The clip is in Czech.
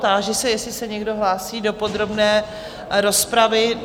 Táži se, jestli se někdo hlásí do podrobné rozpravy?